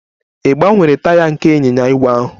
Ị gbanyere taya nke ịnyịnya ígwè ahụ?